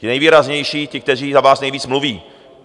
Ti nejvýraznější, ti, kteří za vás nejvíc mluví.